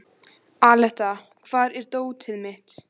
Aletta, hvar er dótið mitt?